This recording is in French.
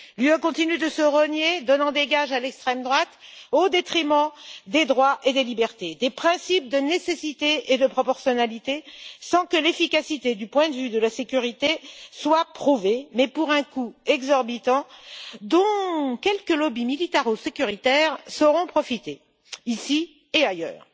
L'Union européenne continue de se renier, donnant des gages à l'extrême droite au détriment des droits et des libertés, des principes de nécessité et de proportionnalité, sans que l'efficacité du point de vue de la sécurité soit prouvée, mais pour un coût exorbitant dont quelques lobbies militaro-sécuritaires sauront profiter, ici et ailleurs.